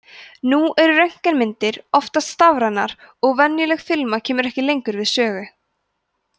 nú eru röntgenmyndir oftast stafrænar og venjuleg filma kemur ekki lengur við sögu